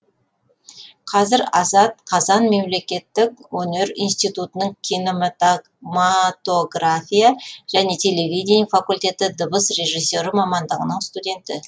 қазір азат қазан мемлекеттік өнер институтының кинематогрофия және телевидение факультеті дыбыс режиссері мамандығының студенті